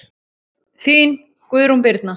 Þín, Guðrún Birna.